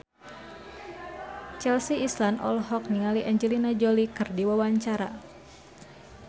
Chelsea Islan olohok ningali Angelina Jolie keur diwawancara